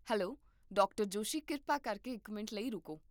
hello, doctor Joshi ਕਿਰਪਾ ਕਰਕੇ ਇੱਕ ਮਿੰਟ ਲਈ ਰੁਕੋ